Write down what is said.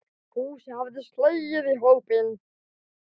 Fúsi hafði slegist í hópinn.